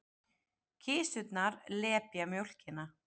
Kisurnar lepja mjólkina.